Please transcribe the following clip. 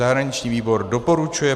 Zahraniční výbor doporučuje